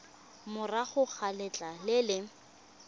morago ga letlha le le